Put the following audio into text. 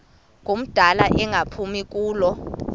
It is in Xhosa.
ngumdala engaphumi kulo